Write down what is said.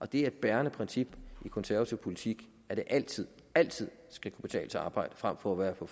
det er et bærende princip i konservativ politik at det altid altid skal kunne betale sig at arbejde frem for at være på